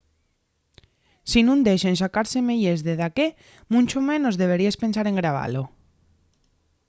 si nun dexen sacar semeyes de daqué muncho menos deberíes pensar en grabalo